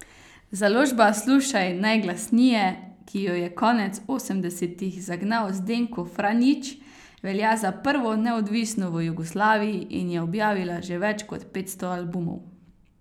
Založba Slušaj najglasnije, ki jo je konec osemdesetih zagnal Zdenko Franjić, velja za prvo neodvisno v Jugoslaviji in je objavila že več kot petsto albumov.